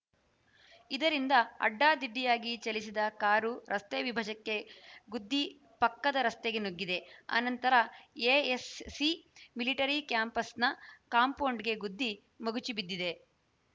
ಇದರಿಂದ ಅಡ್ಡಾದಿಡ್ಡಿಯಾಗಿ ಚಲಿಸಿದ ಕಾರು ರಸ್ತೆ ವಿಭಜಕ್ಕೆ ಗುದ್ದಿ ಪಕ್ಕದ ರಸ್ತೆಗೆ ನುಗ್ಗಿದೆ ಅನಂತರ ಎಎಸ್‌ಸಿ ಮಿಲಿಟರಿ ಕ್ಯಾಂಪಸ್‌ನ ಕಾಂಪೌಂಡ್‌ಗೆ ಗುದ್ದಿ ಮಗುಚಿ ಬಿದ್ದಿದೆ